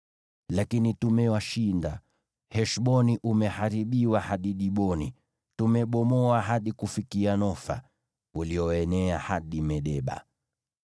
“Lakini tumewashinda; Heshboni umeharibiwa hadi Diboni. Tumebomoa hadi kufikia Nofa, ulioenea hadi Medeba.”